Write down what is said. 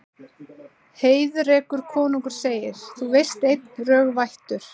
Heiðrekur konungur segir: Það veistu einn, rög vættur